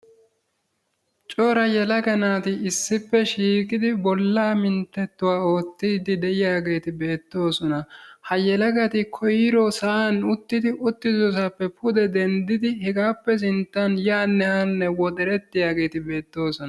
Cora yelaga naati issippe shiiqidi bollaa minttettuwa oottiiddi de'iyaageeti beettoosona. Ha yelagati koyro sa'an uttidi uttidosaappe pude denddidi hegaappe sinttan yaanne haanne woxerettiyageet beettoosona.